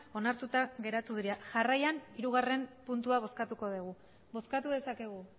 onartuta geratu dira jarraian hirugarren puntua bozkatuko dugu bozkatu dezakegu